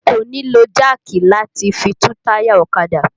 O kò nílò jáàkì láti fi tú táyà ọ̀kadà